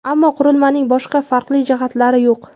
Ammo qurilmaning boshqa farqli jihatlari yo‘q.